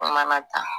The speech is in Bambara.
Mana ta